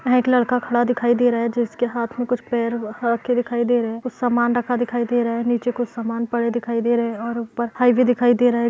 यहाँ एक लड़का खड़ा दिखाई दे रहा है जिसके हाँथ में कुछ दिखाई दे रहे हैं | कुछ सामान रक्खा दिखाई दे रहा है | नीचे कुछ सामान पड़े दिखाई दे रहें हैं और उप्पर हाइवे दिखाई दे रहा है --